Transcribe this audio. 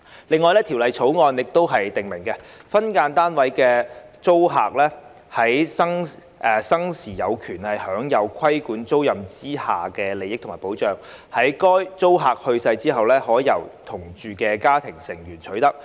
另外，《條例草案》訂明，分間單位租客在生時有權享有的規管租賃之下的利益及保障，在該租客去世後，可由同住的家庭成員取得。